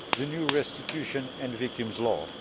the new restitution and victims' law.